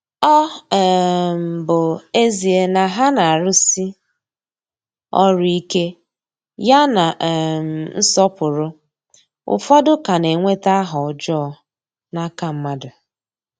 Ọ um bụ ezie na ha na-arụsi ọrụ ike ya na um nsọpụrụ, ụfọdụ ka na-enweta aha ọjọọ n’aka mmadụ.